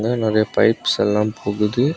இங்க நிறைய பைப்ஸ் எல்லா போகுது.